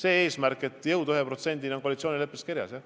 Aga eesmärk jõuda 1%-ni on koalitsioonileppes kirjas.